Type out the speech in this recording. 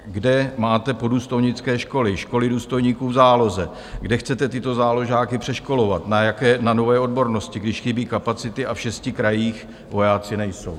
Kde máte poddůstojnické školy, školy důstojníků v záloze, kde chcete tyto záložáky přeškolovat na nové odbornosti, když chybí kapacity a v šesti krajích vojáci nejsou?